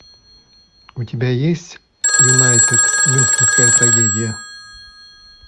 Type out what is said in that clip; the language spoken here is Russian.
у тебя есть юнайтед мюнхенская трагедия